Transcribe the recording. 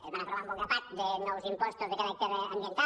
es van aprovar un bon grapat de nous impostos de caràcter ambiental